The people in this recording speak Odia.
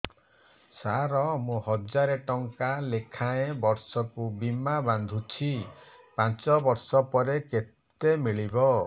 ସାର ମୁଁ ହଜାରେ ଟଂକା ଲେଖାଏଁ ବର୍ଷକୁ ବୀମା ବାଂଧୁଛି ପାଞ୍ଚ ବର୍ଷ ପରେ କେତେ ମିଳିବ